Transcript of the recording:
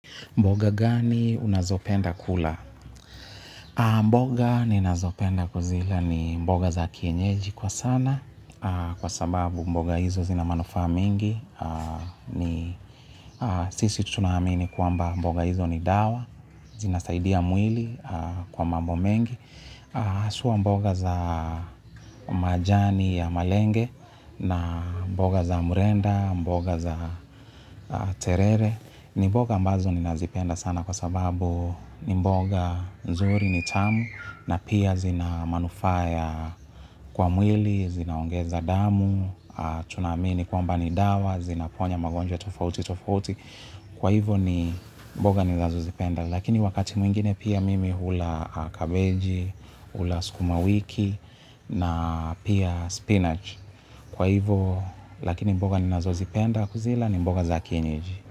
Mboga gani unazopenda kula? Mboga ninazopenda kuzila ni mboga za kienyeji kwa sana kwa sababu mboga hizo zina manufaa mingi. Sisi tunaamini kwamba mboga hizo ni dawa, zinasaidia mwili kwa mambo mengi hasua mboga za majani ya malenge na mboga za murenda, mboga za terere. Ni mboga ambazo ni nazipenda sana kwa sababu ni mboga nzuri ni tamu na pia zina manufaa kwa mwili, zinaongeza damu, tunaamini kwamba ni dawa, zinaponya magonjwa tofauti, tofauti. Kwa hivyo ni mboga ninazozipenda. Lakini wakati mwingine pia mimi hula kabeji, hula skumawiki na pia spinach. Kwa hivyo, lakini mboga ninazozipenda kuzila ni mboga za kienyeji.